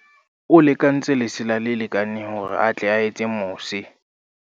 o lekantse lesela le lekaneng hore a tle a etse mose